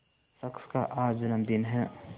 शख्स का आज जन्मदिन है